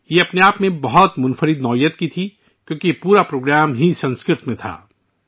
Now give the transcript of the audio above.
یہ اپنے آپ میں منفرد تھا کیونکہ پورا پروگرام سنسکرت میں تھا